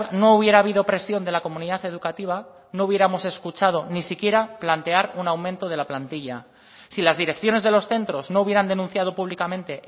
no hubiera habido presión de la comunidad educativa no hubiéramos escuchado ni siquiera plantear un aumento de la plantilla si las direcciones de los centros no hubieran denunciado públicamente